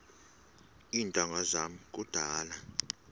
iintanga zam kudala